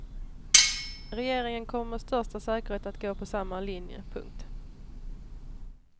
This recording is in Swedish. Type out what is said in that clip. Regeringen kommer med största säkerhet att gå på samma linje. punkt